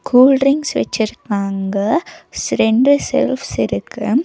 Cool drinks வெச்சிருக்காங்க ஸ் ரெண்டு செல்ஃப்ஸ் இருக்கு.